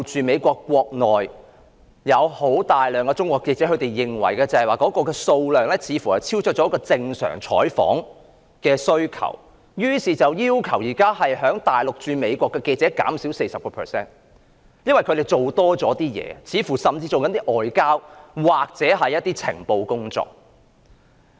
美國國內有大量中國記者，數量似乎超出正常採訪的需求，美國政府數天前要求大陸駐美國記者減少 40%， 因為這些記者似乎在做外交或情報工作。